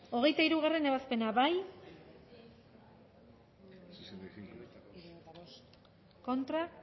hogeita hirugarrena ebazpena bozkatu dezakegu bozketaren emaitza onako izan da hirurogeita hamalau